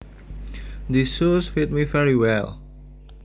These shoes fit me very well